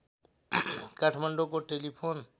काठमाडौँको टेलिफोन